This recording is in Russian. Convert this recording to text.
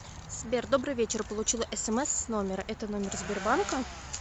сбер добрый вечер получила смс с номера это номер сбербанка